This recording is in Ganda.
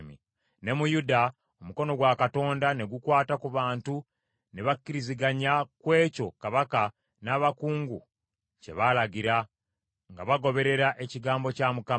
Ne mu Yuda, omukono gwa Katonda ne gukwata ku bantu ne bakkiriziganya ku ekyo kabaka n’abakungu kye baalagira, nga bagoberera ekigambo kya Mukama .